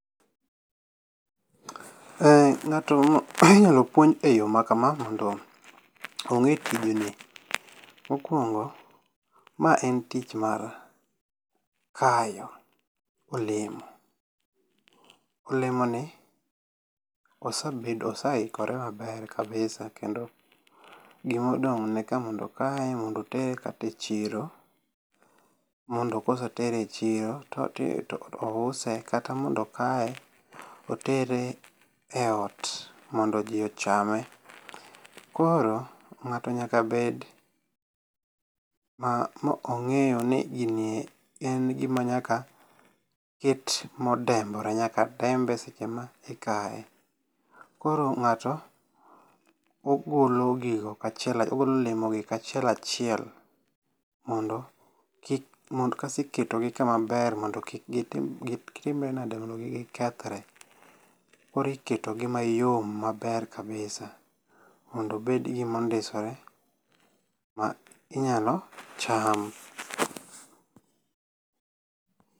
Ng'ato inyalo puonj e yo maka ma mondo ong'e tijni. Mokwongo, ma en tich mar kayo olemo. Olemo ni osebedo ose ikore maber kabisa kendo gimodong' ne kae mondo okaye mondo otere kata e chiro. Mondo kosetere e chiro to ouse kata mondo okaye otere e ot mondo ji ochame. Koro ng'ato nyaka bed ma ong'eyo ni gini en gima nyaka ket modembore nyaka dembe seche ma ikaye. Koro ng'ato ogolo gigo kachiel ogolo olemo gi kachiel achiel mondo kasto iketo gi kamaber mondo kik gitimre nade mondo kik gikethre. Koro iketp gi mayom maber kabisa mondo obed gimondisore ma inyalo cham.